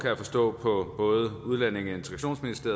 jeg forstå på både udlændinge